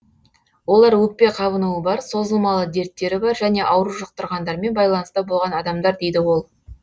олар өкпе қабынуы бар созылмалы дерттері бар және ауру жұқтырғандармен байланыста болған адамдар дейді ол